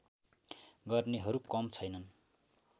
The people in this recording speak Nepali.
गर्नेहरू कम छैनन्